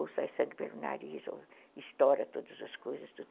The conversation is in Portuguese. Ou sai sangue pelo nariz, ou estoura todas as coisas.